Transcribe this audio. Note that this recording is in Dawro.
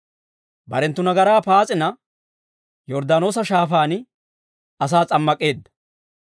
Barenttu nagaraa paas'ina, Yorddaanoosa Shaafaan asaa s'ammak'eedda.